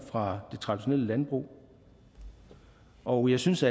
fra det traditionelle landbrug og jeg synes